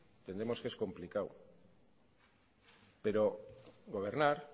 entendemos que es complicado pero gobernar